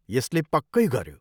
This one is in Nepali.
यसले पक्कै गऱ्यो।